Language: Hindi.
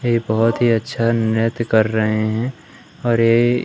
ये बहुत ही अच्छा नृत्य कर रहे हैं और ये--